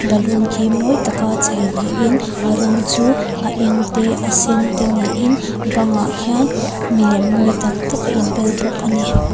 balloon khi mawi taka chhei niin a rawng chu a eng te a sen te niin bangah khian mi lem mawi tak tak a in bel bawk a ni.